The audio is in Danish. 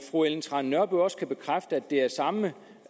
fru ellen trane nørby også bekræfte at det af samme